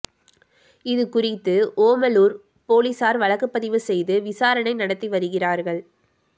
இது குறித்து ஓமலூர் போலீசார் வழக்குப்பதிவு செய்து விசாரணை நடத்தி வருகிறார்கள்